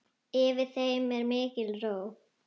Yfir þeim er mikil ró.